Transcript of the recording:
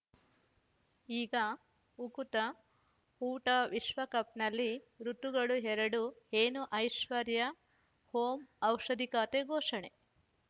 ಈಗ ಉಕುತ ಊಟ ವಿಶ್ವಕಪ್‌ನಲ್ಲಿ ಋತುಗಳು ಎರಡು ಏನು ಐಶ್ವರ್ಯಾ ಓಂ ಔಷಧಿ ಖಾತೆ ಘೋಷಣೆ